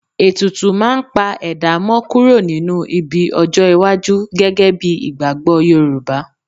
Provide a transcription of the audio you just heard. Ètùtù máa ń pa ẹ̀dá mọ kúrò nínú ibi ọjọ́-iwájú gẹ́gẹ́ bí ìgbàgbọ́ Yorùbá.